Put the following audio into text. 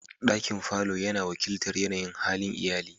Dakin falo yana wakiltar yanayin halin iyali.